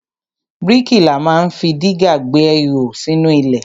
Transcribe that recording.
Bríkìlà ma ń fi dígà gbẹ́hò sínú ilẹ̀.